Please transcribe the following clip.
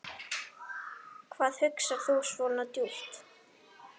Hvað hugsar þú svona djúpt?